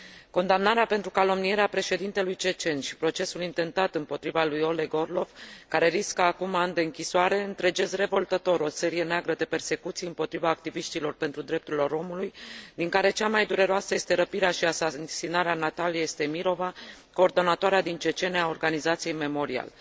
Condamnarea pentru calomnierea președintelui cecen și procesul intentat împotriva lui Oleg Orlov, care riscă acum ani de închisoare, întregesc revoltător o serie neagră de persecuții împotriva activiștilor pentru drepturile omului, din care cea mai dureroasă este răpirea și asasinarea Nataliei Estemirova, coordonatoarea din Cecenia a organizației Memorial.